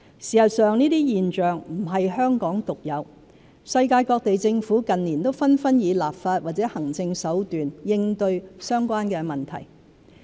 事實上，這些現象不是香港獨有，世界各地政府近年紛紛以立法或行政手段應對相關問題。